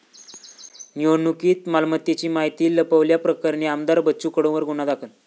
निवडणुकीत मालमत्तेची माहिती लपवल्याप्रकरणी आमदार बच्चू कडूंवर गुन्हा दाखल